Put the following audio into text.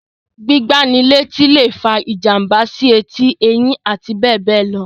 Gbígbá ni létí lè fa ìjàmbá sí etí, eyín, abbl.